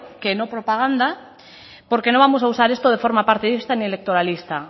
que no propaganda porque no vamos a usar esto de forma partidista ni electoralista